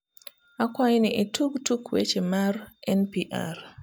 akwai ni itug tuk weche mar n.p.r